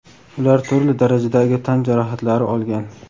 ular turli darajadagi tan jarohatlari olgan.